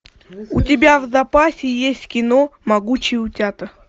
у тебя в запасе есть кино могучие утята